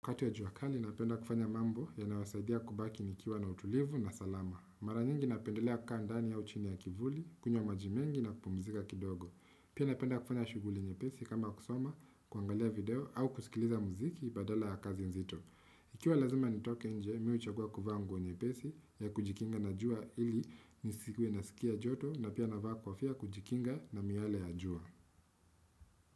Kati ya jua kali napenda kufanya mambo yanayowasaidia kubaki nikiwa na utulivu na salama. Mara nyingi napendelea kukaa ndani au chini ya kivuli, kunywa maji mengi na kupumzika kidogo. Pia napenda kufanya shughuli nyepesi kama kusoma, kuangalia video au kusikiliza muziki badala ya kazi nzito. Ikiwa lazima nitoke nje, mimi huchagua kuvaa nguo nyepesi ya kujikinga na jua ili nisikuwe nasikia joto na pia navaa kofia kujikinga na miale ya jua.